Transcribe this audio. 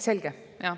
Selge.